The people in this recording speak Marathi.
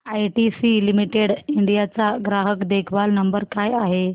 आयटीसी लिमिटेड इंडिया चा ग्राहक देखभाल नंबर काय आहे